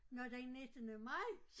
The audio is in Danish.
Nåh den nittende maj